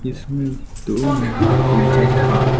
इसमें दो महिला टीचर है।